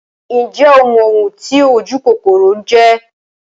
Ǹjẹ́ o mọ oun ti ojúkòkòrò jẹ́?